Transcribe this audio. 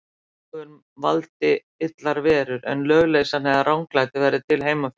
Álögum valdi illar verur, en lögleysan eða ranglætið verði til heima fyrir.